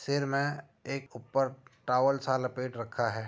सिर में एक ऊपर टॉवल सा लपेट रखा है।